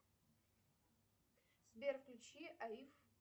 сбер включи аиф